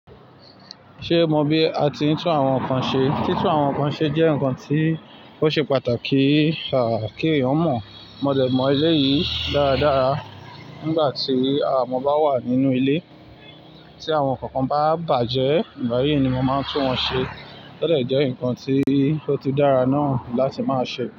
Ṣé mo bí a ti ń tún àwọn nǹkan ṣe? Tí tún àwọn nǹkan ṣe jẹ́ nǹkan tí ó ṣe pàtàki ki eyan moì. Mọ̀lẹ̀ mọ elé yìí dáradára. Nígbà tí àwọn ọmọ bá wà nínú ilé, tí àwọn nkankan bá bàjẹ́, ìgbà yìí ni mo máa ń tún wọn ṣe. Ó dejẹ́ nǹkan tí ó ti dára náà láti máa ṣe bẹ́ẹ̀